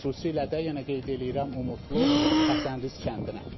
Xüsusilə də yenə qeyd eləyirəm Umudlu, Həsənrız kəndinə.